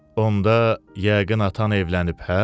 Onda yəqin atan evlənib, hə?